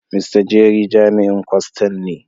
Mr.Jerry jami'in kwastan ne.